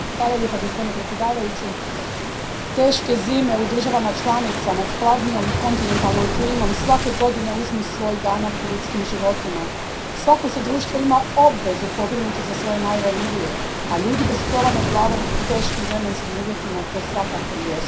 Gospodine predsjedniče, teške zime u državama članicama s hladnijom kontinentalnom klimom svake godine uzmu svoj danak u ljudskim životima. Svako se društvo ima obvezu pobrinuti za svoje najranjivije, a ljudi bez krova nad glavom u teškim vremenskim uvjetima to svakako jesu.